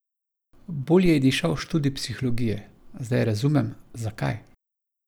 Bolj ji je dišal študij psihologije: "Zdaj razumem, zakaj.